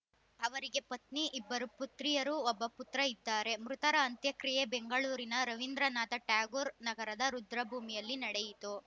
ಅವರಿಗೆ ಪತ್ನಿ ಇಬ್ಬರು ಪುತ್ರಿಯರು ಒಬ್ಬ ಪುತ್ರ ಇದ್ದಾರೆ ಮೃತರ ಅಂತ್ಯಕ್ರಿಯೆ ಬೆಂಗಳೂರಿನ ರವೀಂದ್ರನಾಥ ಟ್ಯಾಗೋರ್‌ ನಗರದ ರುದ್ರಭೂಮಿಯಲ್ಲಿ ನಡೆಯಿತು